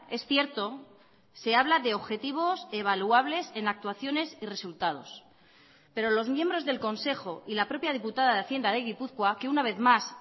es cierto se habla de objetivos evaluables en actuaciones y resultados pero los miembros del consejo y la propia diputada de hacienda de gipuzkoa que una vez más